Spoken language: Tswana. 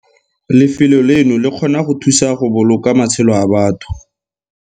Lefelo leno le kgona go thusa go boloka matshelo a batho!